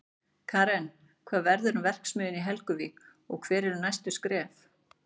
Karen, hvað verður um verksmiðjuna í Helguvík og hver eru næstu skref?